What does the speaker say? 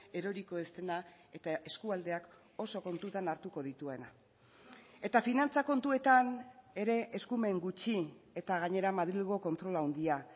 eroriko ez dena eta eskualdeak oso kontutan hartuko dituena eta finantza kontuetan ere eskumen gutxi eta gainera madrilgo kontrol handia